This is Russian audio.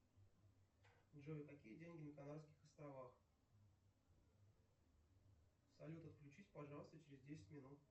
джой какие деньги на канарских островах салют отключись пожалуйста через десять минут